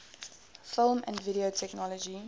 film and video technology